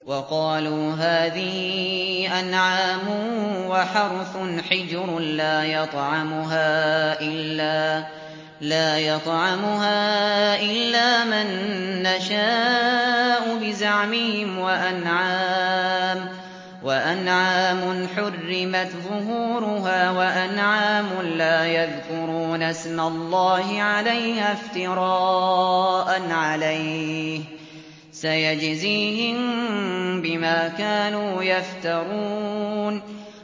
وَقَالُوا هَٰذِهِ أَنْعَامٌ وَحَرْثٌ حِجْرٌ لَّا يَطْعَمُهَا إِلَّا مَن نَّشَاءُ بِزَعْمِهِمْ وَأَنْعَامٌ حُرِّمَتْ ظُهُورُهَا وَأَنْعَامٌ لَّا يَذْكُرُونَ اسْمَ اللَّهِ عَلَيْهَا افْتِرَاءً عَلَيْهِ ۚ سَيَجْزِيهِم بِمَا كَانُوا يَفْتَرُونَ